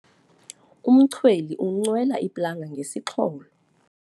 Umchweli uncwela iplanga ngesixholo.